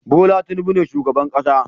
Bola Tinubu ne shugaban kasa